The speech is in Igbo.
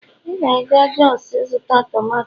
ị ka ga-aga jos ịzụta tomato